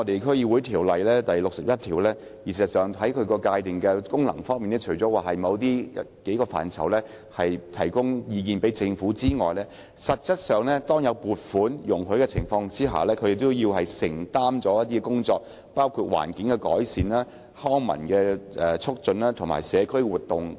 《區議會條例》第61條界定了區議會的職能，除了就某些範疇向政府提供意見外，就有關目的獲得撥款的情況下，區議會也要承擔一些工作，包括環境改善和促進康文事務，以及舉辦社區活動等。